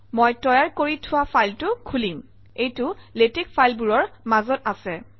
মই তৈয়াৰ কৰি থোৱা ফাইলটো খুলিম এইটো লাতেশ ফাইলবোৰৰ মাজত আছে